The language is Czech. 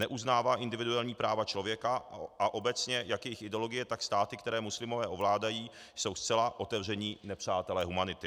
Neuznává individuální práva člověka a obecně jak jejich ideologie, tak státy, které muslimové ovládají, jsou zcela otevření nepřátelé humanity.